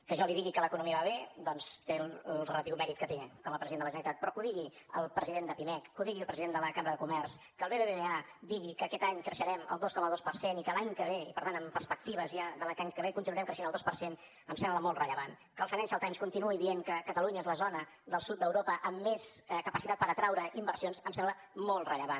que jo li digui que l’economia va bé doncs té el relatiu mèrit que té com a president de la generalitat però que ho digui el president de pimec que ho digui el president de la cambra de comerç que el bbva digui que aquest any creixerem el dos coma dos per cent i que l’any que ve i per tant amb perspectives ja continuarem creixent el dos per cent em sembla molt rellevant que el financial times continuï dient que catalunya és la zona del sud d’europa amb més capacitat per atraure inversions em sembla molt rellevant